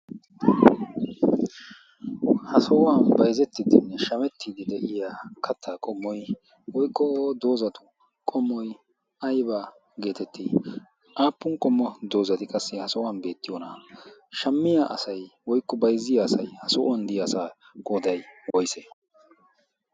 ha sa7uwan baizettiddinne shamettiiddi de7iya kattaa qommoi woiqqo doozatu qommoi aibaa' geetettiyona? aappun qommo doozati qassi ha sa7uwan beettiyoona7aa shammiya asai woiqqo baizziya asai ha so7uwan diya asaa goodai woise?